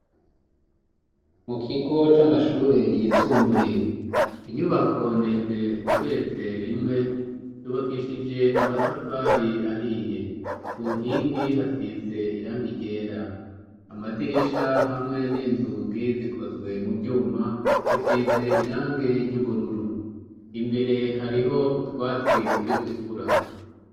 Mu kigo c'amashure yisumbuye. Inyubako ndende igeretse rimwe yubakishije amatafari ahiye. Ku nkingi hasize irangi ryera. Amadirisha hamwe n'inzugi zikozwe mu vyuma hasize irangi ry'ubururu. Imbere hariho utwatsi turi gukura.